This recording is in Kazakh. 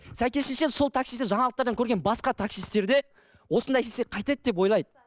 сәйкесінше сол таксистті жаңалықтардан көрген басқа таксисттер де осындай істесек қайтеді деп ойлайды